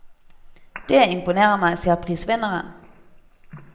Dét imponerer meg, sier prisvinneren.